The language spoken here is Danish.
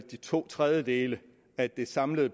de to tredjedele af det samlede